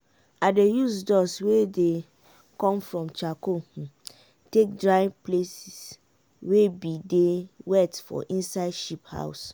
i dey use dust wey dey come from charcoal take dry places weybdey wet for inside sheep house.